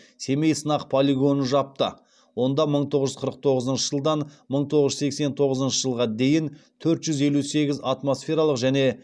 семей сынақ полигонын жапты онда мың тоғыз жүз қырық тоғызыншы жылдан мың тоғыз жүз сексен тоғызыншы жылға дейін төрт жүз елу сегіз атмосфералық және